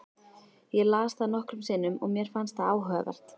Ég las það nokkrum sinnum og mér fannst það áhugavert.